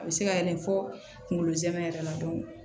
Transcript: A bɛ se ka yɛlɛ fo kungolo zɛmɛ yɛrɛ la